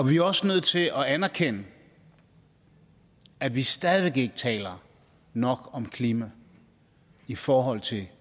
vi er også nødt til at anerkende at vi stadig væk ikke taler nok om klima i forhold til